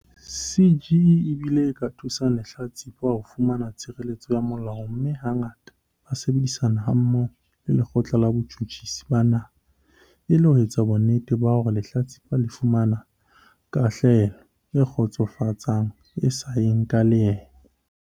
CGE e bile e ka thusa lehlatsipa ho fumana tshireletso ya molao mme hangata ba sebedisana hammoho le Lekgotla la Botjhutjhisi ba Naha e le ho etsa bonnete ba hore lehlatsipa le fumana kahlolelo e kgotsofatsang e sa yeng ka leeme.